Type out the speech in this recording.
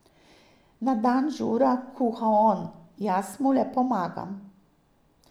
Na dan žura kuha on, jaz mu le pomagam.